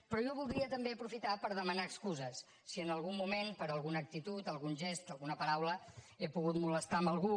però jo voldria també aprofitar per demanar excuses si en algun moment per alguna actitud algun gest alguna paraula he pogut molestar algú